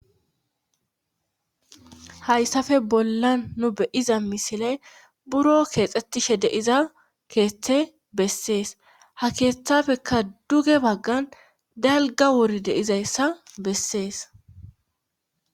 hayssafe bolla nu beyiza misile buro keexxetishe deiza keeththe bessees ha keeththafekka duge baggan dalga wori deizayssa bessees